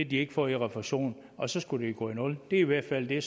de ikke får i refusion og så skulle det gå i nul det er i hvert fald det